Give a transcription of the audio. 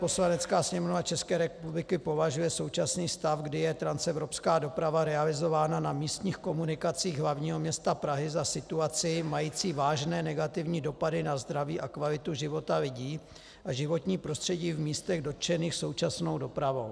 Poslanecká sněmovna České republiky považuje současný stav, kdy je transevropská doprava realizována na místních komunikacích hlavního města Prahy, za situaci mající vážné negativní dopady na zdraví a kvalitu života lidí a životní prostředí v místech dotčených současnou dopravou.